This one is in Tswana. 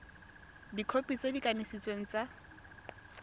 dikhopi tse di kanisitsweng tsa